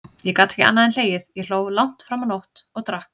Ég gat ekki annað en hlegið, ég hló langt fram á nótt, og drakk.